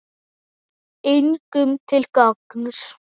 Engum til gagns.